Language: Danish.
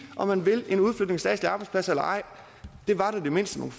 om man vil en udflytning af statslige arbejdspladser eller ej var da det mindste